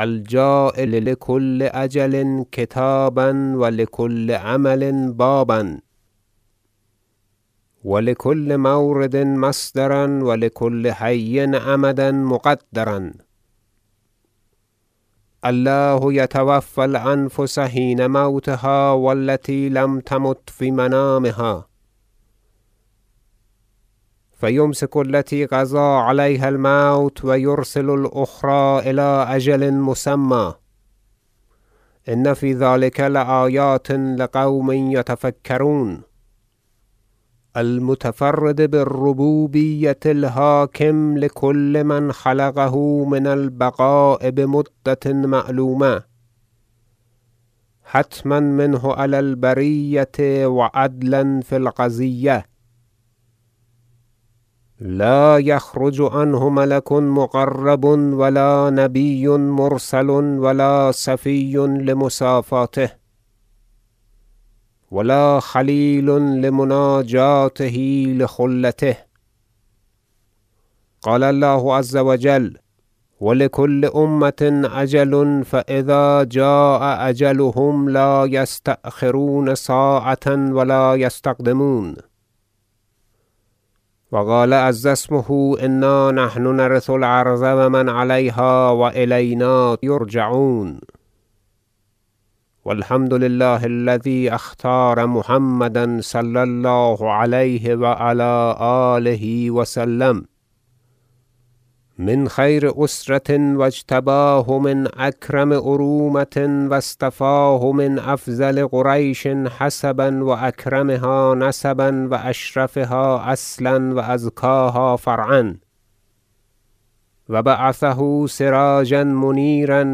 اللیل و النهار الجاعل لکل اجل کتابا و لکل عمل بابا و لکل مورد مصدرا و لکل حی امدا مقدرا الله یتوفی الأنفس حین موتها و التی لم تمت فی منامها فیمسک التی قضی علیها الموت و یرسل الأخری إلی أجل مسمی إن فی ذلک لآیات لقوم یتفکرون المتفرد بالربوبیة الحاکم لکل من خلقه من البقاء بمدة معلومة حتما منه علی البریة و عدلا فی القضیة لا یخرج عنه ملک مقرب و لا نبی مرسل و لا صفی لمصافاته و لا خلیل لمناجاته لخلته قال الله عز و جل و لکل أمة أجل فإذا جاء أجلهم لا یستأخرون ساعة و لا یستقدمون و قال عز اسمه إنا نحن نرث الأرض و من علیها و إلینا یرجعون و الحمد لله الذی اختار محمدا صلی الله علیه و علی آله و سلم من خیر اسرة و اجتباه من اکرم ارومة و اصطفاه من افضل قریش حسبا و اکرمها نسبا و اشرفها اصلا و ازکاها فرعا و بعثه سراجا منیرا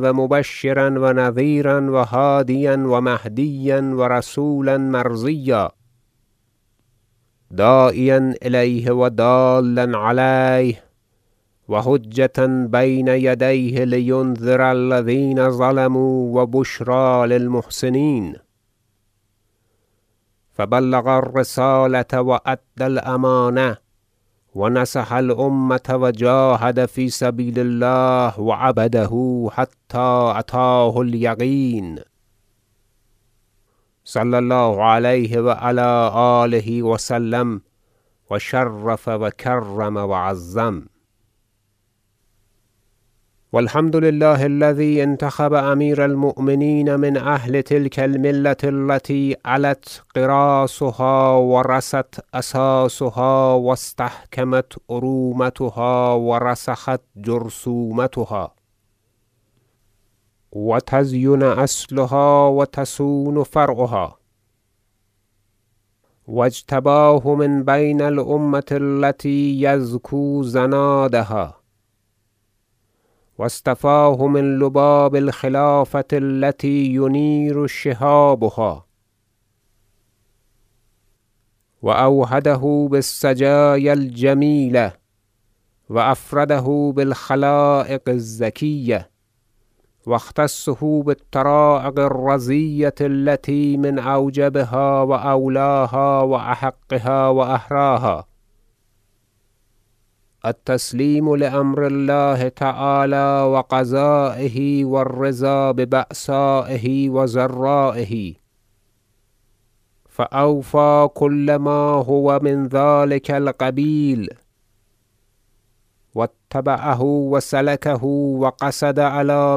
و مبشرا و نذیرا و هادیا و مهدیا و رسولا مرضیا داعیا الیه و دالا علیه و حجة بین یدیه لینذر الذین ظلموا و بشری للمحسنین فبلغ الرسالة و ادی الامانة و نصح الامة و جاهد فی سبیل الله و عبده حتی اتاه الیقین صلی الله علیه و علی آله و سلم و شرف و کرم و عظم و الحمد لله الذی انتخب امیر المؤمنین من اهل تلک الملة التی علت غراسها و رست اساسها و استحکمت ارومتها و رسخت جرثومتها و تزین اصلها و تصون فرعها و اجتباه من بین الامة التی یذکوزنادها و اصطفاه من لباب الخلافة التی ینیر شهابها و اوحده بالسجایا الجمیلة و افرده بالخلایق الزکیة و اختصه بالطرایق الرضیة التی من اوجبها و اولاها و احقها و احراها التسلیم لامر الله تعالی و قضایه و الرضا ببأسایه و ضرایه فأوفی کل ما هو من ذلک القبیل و اتبعه و سلکه و قصد علی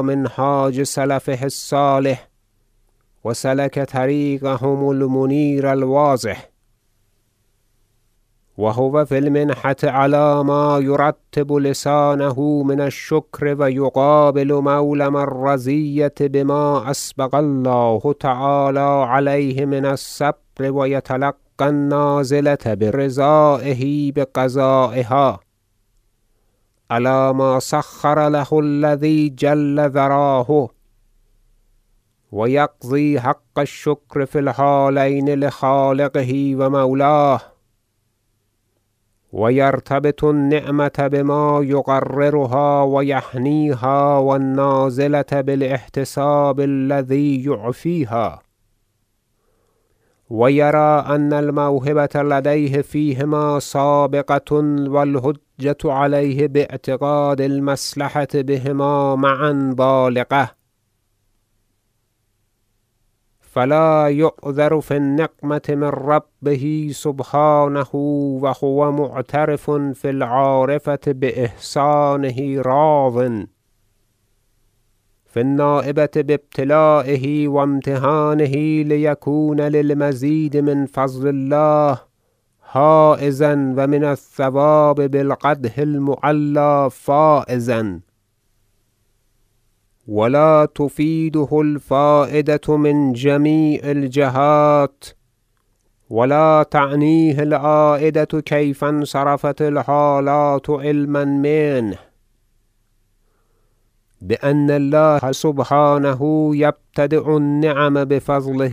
منهاج سلفه الصالح و سلک طریقهم المنیر الواضح و هو فی المنحة علی ما یرطب لسانه من الشکر و یقابل مولم الرزیة بما اسبغ الله تعالی علیه من الصبر و یتلقی النازلة برضایه بقضایها علی ما سخر له الذی جل ذراه و یقضی حق الشکر فی الحالین لخالقه و مولاه و یرتبط النعمة بما یقررها و یهنیها و النازلة بالإحتساب الذی یعفیها و یری ان الموهبة لدیه فیهما سابغة و الحجة علیه باعتقاد المصلحة بهما معا بالغة فلا یعذر فی النقمة من ربه سبحانه و هو معترف فی العارفة باحسانة راض فی النایبة بابتلایه و امتحانه لیکون للمزید من فضل الله حایزا و من الثواب بالقدح المعلی فایزا و لا تفیده الفایدة من جمیع الجهات و لا تعنیه العایدة کیف انصرفت الحالات علما منه بان الله سبحانه یبتدی ء النعم بفضله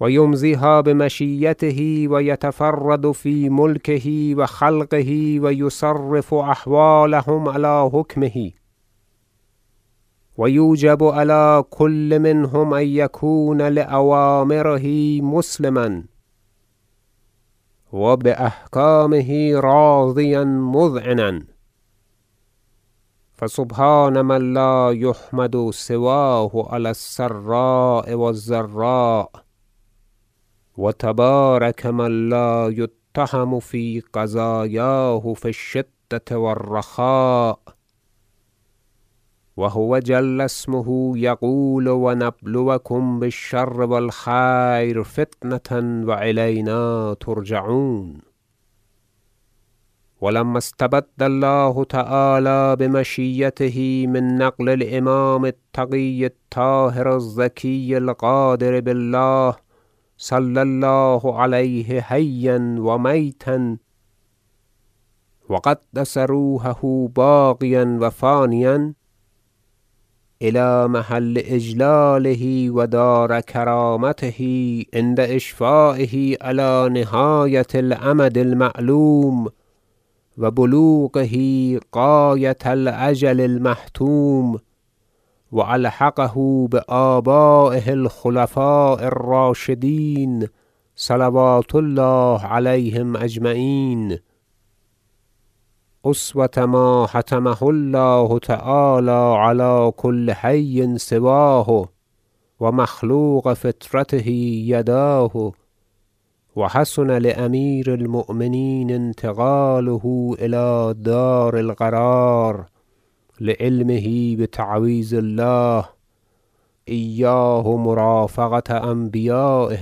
و یقضی فیها بعدله و یقدر الاشیاء بحکمته و یدبر اختلافها بارادته و یمضیها بمشییته و یتفرد فی ملکه و خلقه و یصرف احوالهم علی حکمه و یوجب علی کل منهم ان یکون لأوامره مسلما و باحکامه راضیا مذعنا فسبحان من لا یحمد سواه علی السراء و الضراء و تبارک من لا یتهم فی قضایاه فی الشدة و الرخاء و هو جل اسمه یقول و نبلوکم بالشر و الخیر فتنة و إلینا ترجعون و لما استبد الله تعالی بمشییته من نقل الامام التقی الطاهر الزکی القادر بالله- صلی الله علیه حیا و میتا و قدس روحه باقیا و فانیا- الی محل اجلاله و دار کرامته عند اشفایه علی نهایة الامد المعلوم و بلوغه غایة الاجل المحتوم و ألحقه بآبایه الخلفاء الراشدین صلوات الله علیهم اجمعین اسوة ما حتمه الله تعالی علی کل حی سواه و مخلوق فطرته بجای فطره نقل از حواشی مرحوم دکتر فیاض یداه و حسن لامیر المؤمنین انتقاله الی دار القرار لعلمه بتعویض الله ایاه مرافقة انبیایه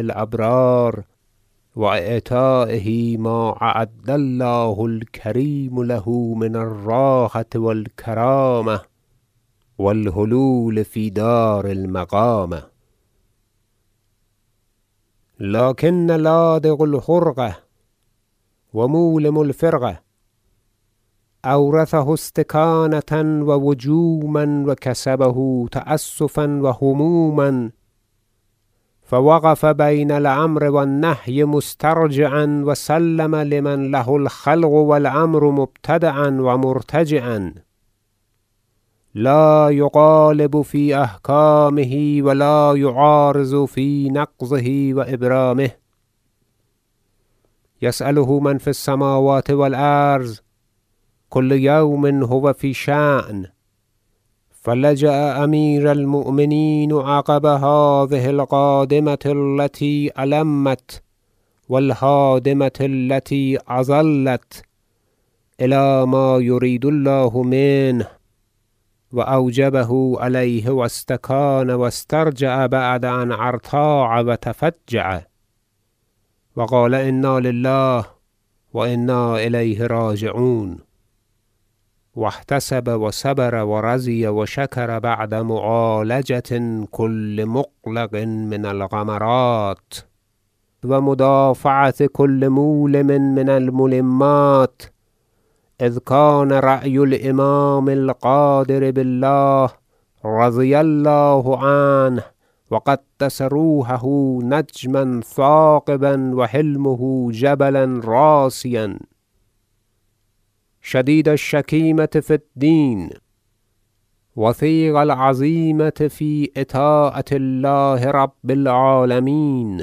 الابرار و اعطایه ما اعد الله الکریم له من الراحة و الکرامة و الحلول فی دار المقامة لکن لا دغ الحرقة و مولم الفرقة اورثه استکانة و وجوما و کسبه تأسفا و هموما فوقف بین الامر و النهی مسترجعا و سلم لمن له الخلق و الامر مبتدأ و مرتجعا لا یغالب فی احکامه و لا یعارض فی نقضه و ابرامه یساله من فی السموات و الارض کل یوم هو فی شأن فلجأ امیر المؤمنین عقب هذه القادمة التی المت و الهادمة التی اظلت الی ما یرید الله منه و اوجبه علیه و استکان و استرجع بعد أن ارتاع و تفجع و قال انا لله و انا الیه راجعون و احتسب و صبر و رضی و شکر بعد معالجة کل مغلق من الغمرات و مدافعة کل مولم من الملمات اذ کان رأی الامام القادر بالله رضی الله عنه و قدس روحه نجما ثاقبا و حلمه جبلا راسیا شدید الشکیمة فی الدین وثیق العزیمة فی اطاعة الله رب العالمین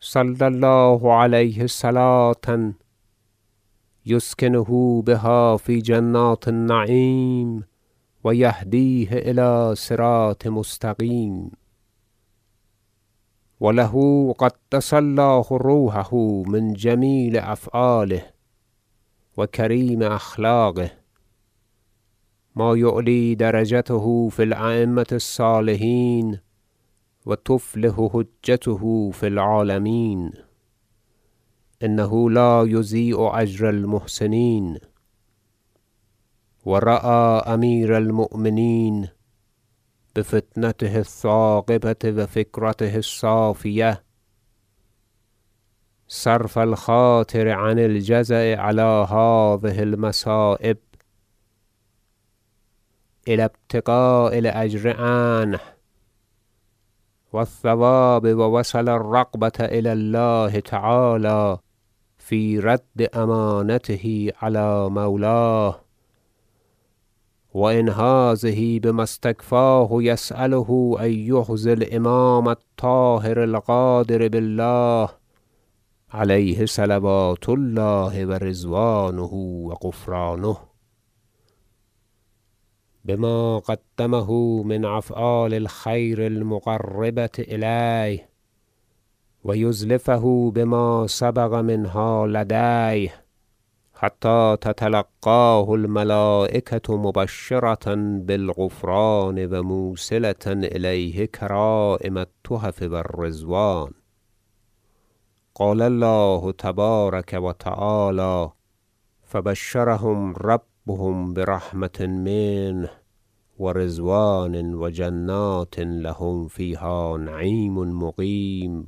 صلی الله علیه صلوة یسکنه بها فی جنات النعیم و یهدیه الی صراط مستقیم و له قدس الله روحه من جمیل افعاله و کریم اخلاقه ما یعلی درجته فی الایمة الصالحین و تفلح به حجته فی العالمین انه لا یضیع اجر المحسنین و رای امیر المؤمنین بفطنته الثاقبة و فکرته الصافیة صرف الخاطر عن الجزع علی هذه المصایب الی ابتغاء الاجر عنه و الثواب و وصل الرغبة الی الله تعالی فی رد امانته علی مولاه و انهاضه بما استکفاه یسأله ان یحظی الامام الطاهر القادر بالله علیه صلوات الله و رضوانه و غفرانه بما قدمه من افعال الخیر المقربة الیه و یزلفه بما سبق منها لدیه حتی تتلقاه الملایکة مبشرة بالغفران و موصلة الیه کرایم التحف و الرضوان قال الله تبارک و تعالی یبشرهم ربهم برحمة منه و رضوان و جنات لهم فیها نعیم مقیم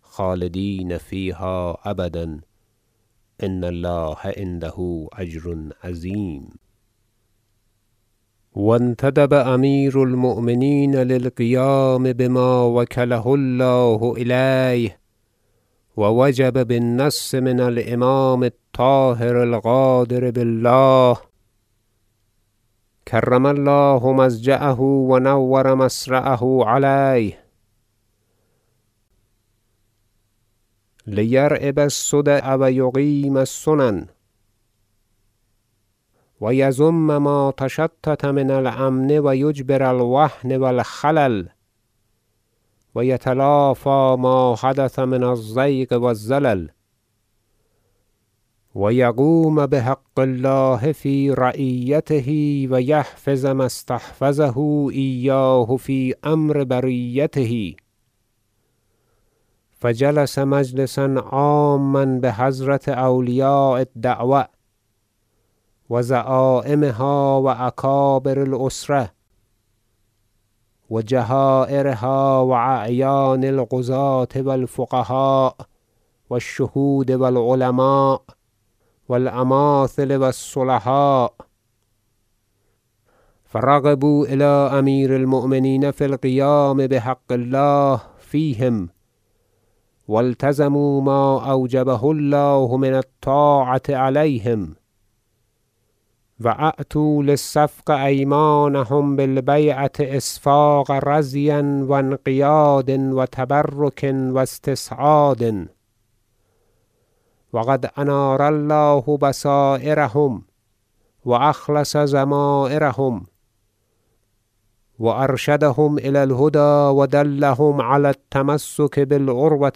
خالدین فیها أبدا إن الله عنده أجر عظیم و انتدب امیر المؤمنین للقیام بما و کله الله الیه و وجب بالنص من الإمام الطاهر القادر بالله کرم الله مضجعه و نور مصرعه علیه لیریب الصدع و یقیم السنن و یضم ما تشتت من الامن و یجبر الوهن و الخلل و یتلافی ما حدث من الزیغ و الزلل و یقوم بحق الله فی رعیته و یحفظ ما استحفظه ایاه فی امر بریته فجلس مجلسا عاما بحضرة اولیاء الدعوة و زعایمها و اکابر الأسرة و جهایرها و اعیان القضاة و الفقهاء و الشهود و العلماء و الامایل و الصلحاء فرغبوا الی امیر المؤمنین فی القیام بحق الله فیهم و التزموا ما اوجبه الله من الطاعة علیهم و اعطوا للصفق ایمانهم بالبیعة اصفاق رضی و انقیاد و تبرک و استسعاد و قد انار الله بصایرهم و اخلص ضمایرهم و ارشدهم الی الهدی و دلهم علی التمسک بالعروة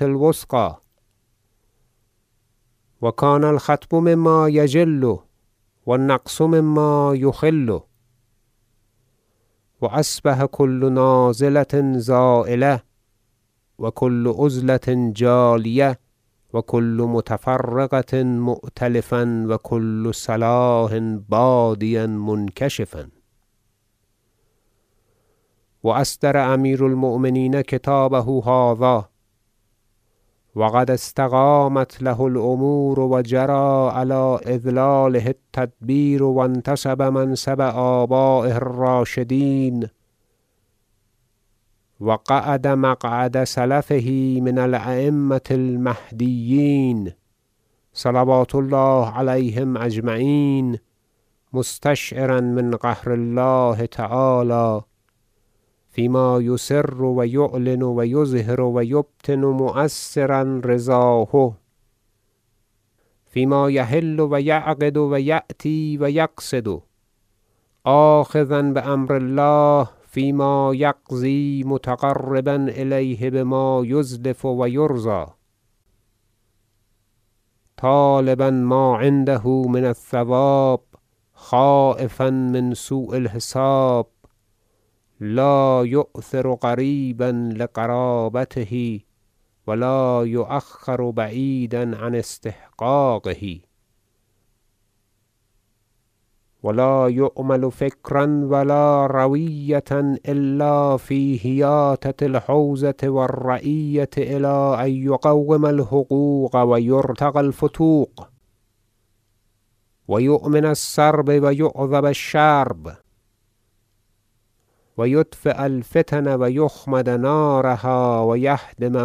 الوثقی و کان الخطب مما یجل و النقص مما یخل فاصبح کل نازلة زایلة و کل عضلة جالیة و کل متفرق مؤتلفا و کل صلاح بادیا منکشفا و اصدر امیر المؤمنین کتابه هذا و قد استقامت له الامور و جری علی ادلاله التدبیر و انتصب منصب آبایه الراشدین و قعد مقعد سلفه من الایمة المهدیین صلوات الله علیهم اجمعین مستشعرا من قهر الله تعالی فیما یسرو یعلن و یظهر و یبطن مؤثرا رضاه فیما یحل و یعقد و یأتی و یقصد آخذا بامر الله فیما یقضی متقربا الیه بما یزلف و یرضی طالبا ما عنده من الثواب خایفا من سوء الحساب لا یؤثر قریبا لقرابته و لا یؤخر بعیدا عن استحقاقه و لا یعمل فکرا و لا رویة الا فی حیاطة الحوزة و الرعیة الی ان یقوم الحقوق و یرتق الفتوق و یؤمن السرب و یعذب الشرب و یطفی الفتن و یخمد نارها و یهدم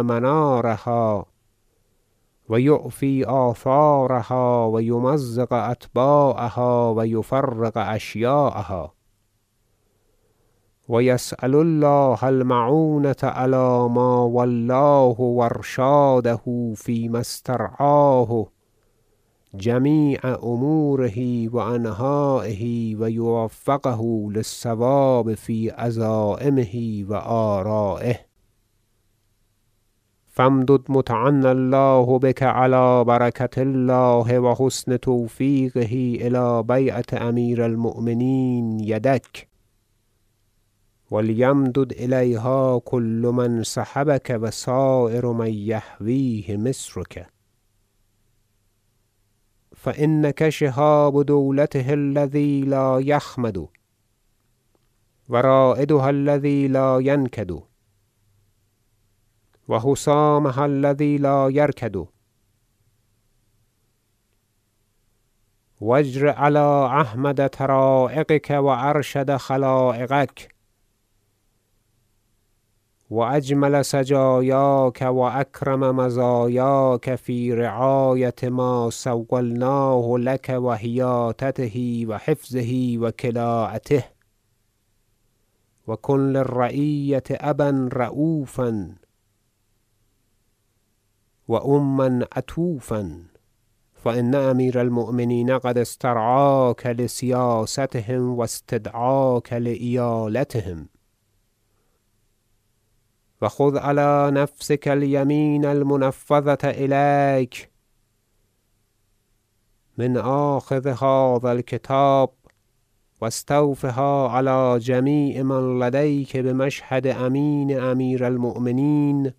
منارها و یعفی آثارها و یمزق اتباعها و یفرق اشیاعها و یسأل الله المعونة علی ما ولاه و ارشاده فیما استرعاه جمیع اموره و انحایه و یوفقه للصواب فی عزایمه و آرایه فامدد متعنی الله بک علی برکة الله و حسن توفیقه الی بیعة امیر المؤمنین یدک و لیمدد الیها کل من صحبک و سایر من یحویه مصرک فانک شهاب دولته الذی لا یخمد و رایدها الذی لا ینکدو حسامها الذی لا یرکد و اجر علی احمد طرایقک و ارشد خلایقک و اجمل سجایاک و اکرم مزایاک فی رعایة ما سولناه لک و حیاطته و حفظه و کلاءته و کن للرعیة ابا رؤفا و اما عطوفا فان امیر المؤمنین قد استرعاک لسیاستهم و استدعاک لإیالتهم وخذ علی نفسک الیمین المنفذة الیک من آخذ هذا الکتاب و استوفها علی جمیع من لدیک بمشهد امین امیر المؤمنین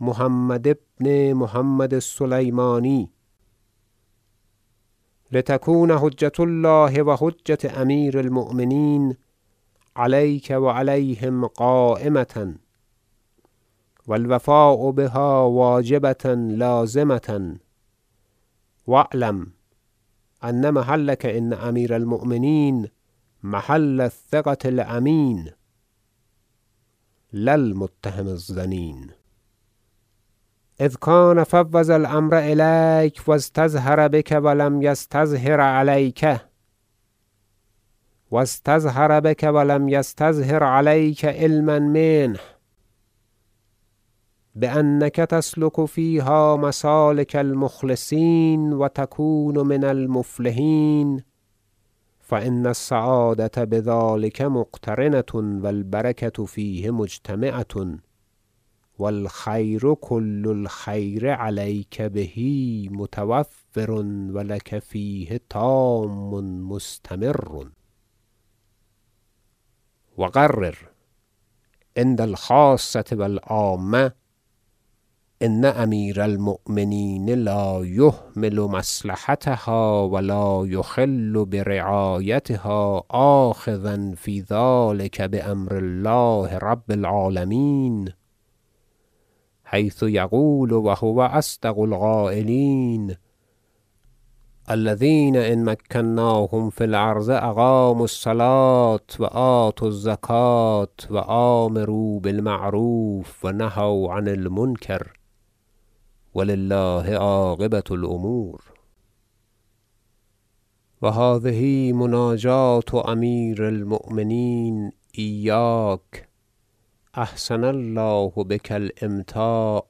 محمد بن محمد السلیمانی لتکون حجة الله و حجة امیر المؤمنین علیک و علیهم قایمة و الوفاء بها واجبة لازمة و اعلم ان محلک عند امیر- المؤمنین محل الثقة الامین لا المتهم الظنین اذ کان فوض الامر الیک و استظهر بک و لم یستظهر علیک علما منه بانک تسلک فیها مسالک المخلصین و تکون من المفلحین فان السعادة بذلک مقترنة و البرکة فیه مجتمعة و الخیر کل الخیر علیک به متوفر و لک فیه تام مستمر و قرر عند الخاصة و العامة ان امیر المؤمنین لا یهمل مصلحتها و لا یخل برعایتها آخذا فی ذلک بامر الله رب العالمین حیث یقول و هو اصدق القایلین الذین إن مکناهم فی الأرض أقاموا الصلاة و آتوا الزکاة و أمروا بالمعروف و نهوا عن المنکر و لله عاقبة الأمور و هذه مناجاة امیر المؤمنین ایاک احسن الله بک الأمتاع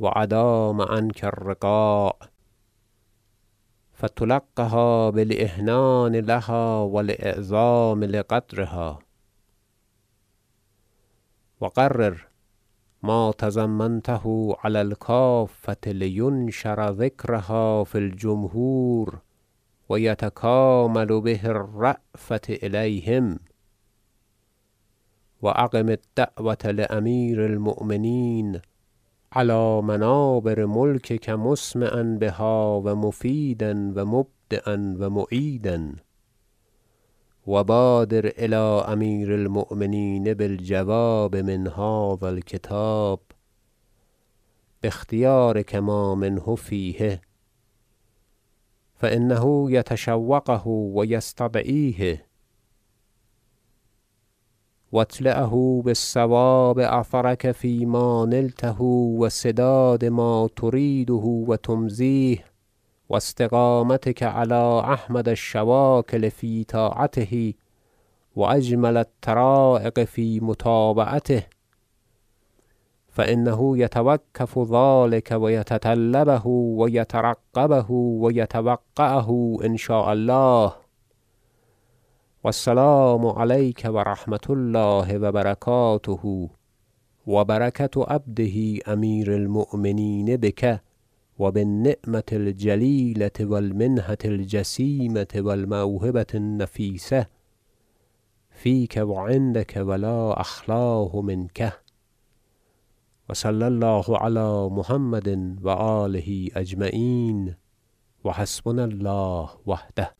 و ادام عنک الرقاع فتلقها بالإحنان لها و الإعظام لقدرها و قرر ما تضمنته علی الکافة لینشر ذکرها فی الجمهور و یتکامل به الجذل و السرور و لیسکنوا الی ما اباحه الله لهم من عطوفة امیر المؤمنین علیهم و نظره بعین الرأفة الیهم و اقم الدعوة لامیر المؤمنین علی منابر ملکک مسمعا بها و مفیدا و مبدیا و معیدا و بادر الی امیر المؤمنین بالجواب من هذا الکتاب باختیارک ما منه فیه فانه یتشوقه و یستدعیه و اطلعه بصواب أثرک فیما نلته و سداد ما تریده و تمضیه و استقامتک علی احمد الشواکل فی طاعته و اجمل الطرایق فی متابعته فانه یتوکف ذلک و یتطلبه و یترقبه و یتوقعه ان شاء الله و السلام علیک و رحمة الله و برکاته و برکة عبده امیر المؤمنین بک و بالنعمة الجلیلة و المنحة الجسیمة و الموهبة النفیسة فیک و عندک و لا اخلاه منک و صلی الله علی محمد و آله اجمعین و حسبنا الله وحده